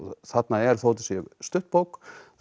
þarna er þó þetta sé stutt bók